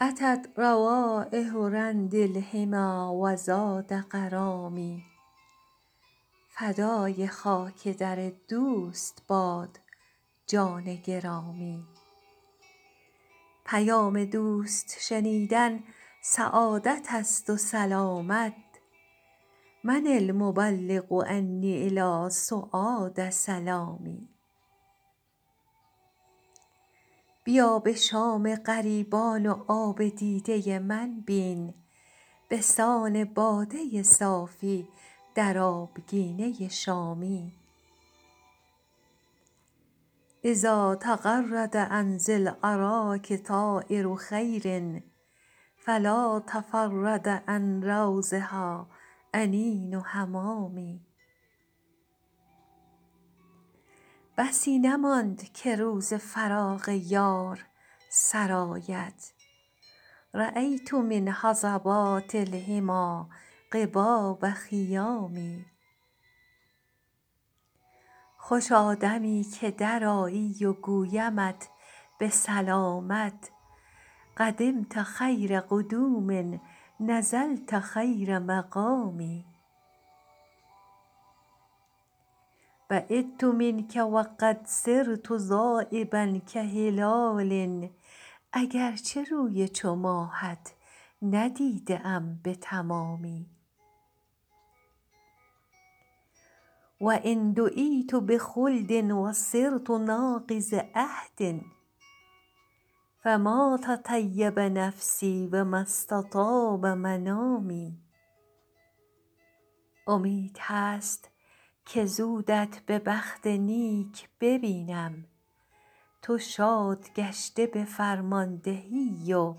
أتت روایح رند الحمیٰ و زاد غرامی فدای خاک در دوست باد جان گرامی پیام دوست شنیدن سعادت است و سلامت من المبلغ عنی إلی سعاد سلامی بیا به شام غریبان و آب دیده من بین به سان باده صافی در آبگینه شامی إذا تغرد عن ذی الأراک طایر خیر فلا تفرد عن روضها أنین حمامي بسی نماند که روز فراق یار سر آید رأیت من هضبات الحمیٰ قباب خیام خوشا دمی که درآیی و گویمت به سلامت قدمت خیر قدوم نزلت خیر مقام بعدت منک و قد صرت ذایبا کهلال اگر چه روی چو ماهت ندیده ام به تمامی و إن دعیت بخلد و صرت ناقض عهد فما تطیب نفسی و ما استطاب منامی امید هست که زودت به بخت نیک ببینم تو شاد گشته به فرماندهی و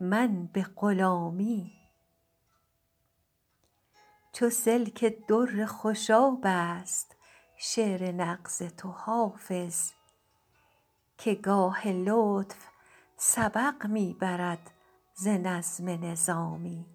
من به غلامی چو سلک در خوشاب است شعر نغز تو حافظ که گاه لطف سبق می برد ز نظم نظامی